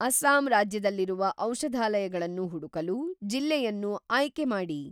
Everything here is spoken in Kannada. ಅಸ್ಸಾಂ ರಾಜ್ಯದಲ್ಲಿರುವ ಔಷಧಾಲಯಗಳನ್ನು ಹುಡುಕಲು ಜಿಲ್ಲೆಯನ್ನು ಆಯ್ಕೆ ಮಾಡಿ.